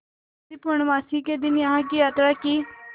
यदि पूर्णमासी के दिन यहाँ की यात्रा की